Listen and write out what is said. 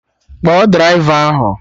Kpọọ draịva ahụ!